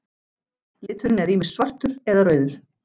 Liturinn er ýmist svartur eða rauður.